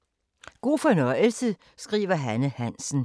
God fornøjelse